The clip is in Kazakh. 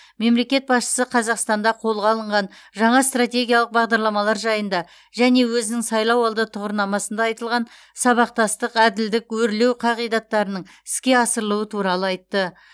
мемлекет басшысы қазақстанда қолға алынған жаңа стратегиялық бағдарламалар жайында және өзінің сайлауалды тұғырнамасында айтылған сабақтастық әділдік өрлеу қағидаттарының іске асырылуы туралы айтты